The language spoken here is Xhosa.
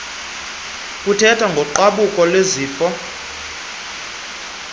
kuthethwa ngogqabhuko lwesifo